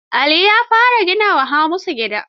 Ali ya fara gina wa Hamisu gida.